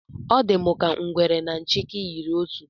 Ọ dị m ka na ngwere na nchịkị yiri otu